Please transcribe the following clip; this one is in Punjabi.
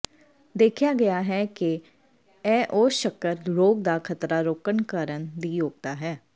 ਦੇਖਿਆ ਗਿਆ ਹੈ ਕਿ ਇਹ ਉਗ ਸ਼ੱਕਰ ਰੋਗ ਦਾ ਖਤਰਾ ਰੋਕਣ ਕਰਨ ਦੀ ਯੋਗਤਾ ਹੈ